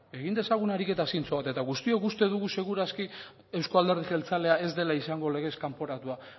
egin dezagun ariketa zintzo bat eta guztiok uste dugu segur aski euzko alderdi jeltzalea ez dela izango legez kanporatua